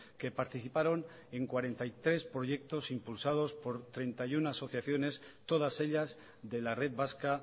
que participaron en cuarenta y tres proyectos impulsados por treinta y uno asociaciones todas ellas de la red vasca